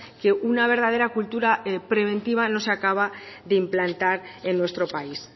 que una verdadera cultura preventiva no se acaba de implantar en nuestro país